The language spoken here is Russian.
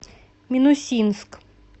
минусинск